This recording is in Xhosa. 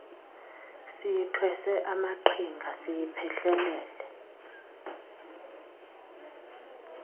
siyithwese amaqhinga siyiphehlelele